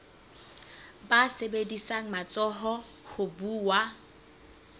ba sebedisang matsoho ho buwa